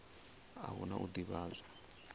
a hu na u ḓivhadzwa